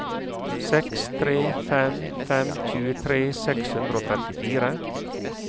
seks tre fem fem tjuetre seks hundre og trettifire